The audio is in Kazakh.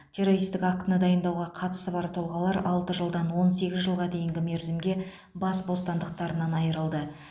террористік актіні дайындауға қатысы бар тұлғалар алты жылдан он сегіз жылға дейінгі мерзімге бас бостандықтарынан айырылды